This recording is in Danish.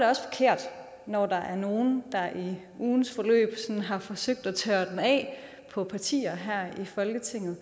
også forkert når der er nogle der i ugens løb har forsøgt at tørre den af på partier her i folketinget